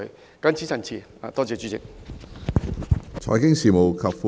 我謹此陳辭，多謝主席。